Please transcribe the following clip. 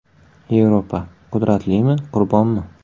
Yevropa: qudratlimi, qurbonmi?